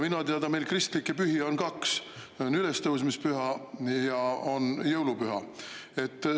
Minuteada meil kristlikke pühi on kaks: on ülestõusmispüha ja on jõulupüha.